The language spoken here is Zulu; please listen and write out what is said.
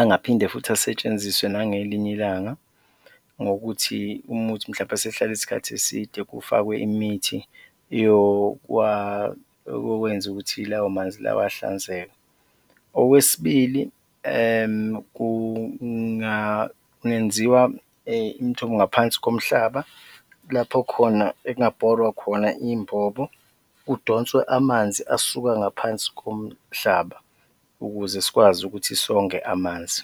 angaphinde futhi asetshenziswe nangelinye ilanga ngokuthi uma kuwukuthi mhlawumbe esehlale isikhathi eside, kufakwe imithi yokwenza ukuthi lawo manzi lawa ahlanzeke. Okwesibili, kungenziwa imithombo ngaphansi komhlaba, lapho khona ekungabhorwa khona iy'mbobo, kudonswe amanzi asuka ngaphansi komhlaba ukuze sikwazi ukuthi songe amanzi.